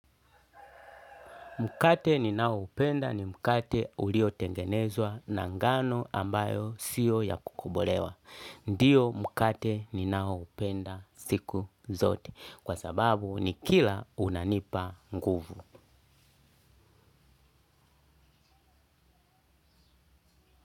Mkate ninaoupenda ni mkate uliotengenezwa na ngano ambayo sio ya kukobolewa. Ndio mkate ninaoupenda siku zote. Kwa sababu nikila unanipa nguvu.